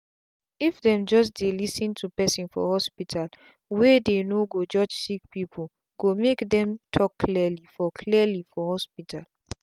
if them just dey lis ten to person for hospitalwey dey no go judge sick peoplee go make dem talk clearly for clearly for hospital